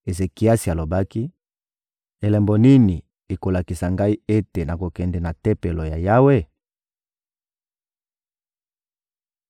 Ezekiasi alobaki: — Elembo nini ekolakisa ngai ete nakokende na Tempelo ya Yawe?